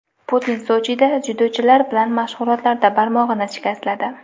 Putin Sochida dzyudochilar bilan mashg‘ulotlarda barmog‘ini shikastladi.